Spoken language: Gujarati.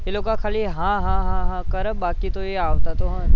એ લોકો ખાલી હા હા હા હા કરે બાકી તો એ આવતા તો હોય નહીં